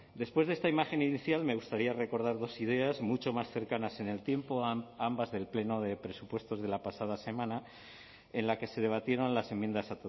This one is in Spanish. después de esta imagen inicial me gustaría recordar dos ideas mucho más cercanas en el tiempo ambas del pleno de presupuestos de la pasada semana en la que se debatieron las enmiendas